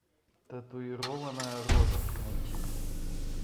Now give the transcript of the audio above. татуированная роза найти